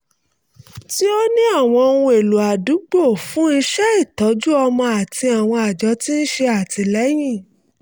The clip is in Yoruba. tí ó ní àwọn ohun-èlò àdúgbò fún iṣẹ́ ìtọ́jú ọmọ àti àwọn àjọ tí ń ṣe àtìlẹ́yìn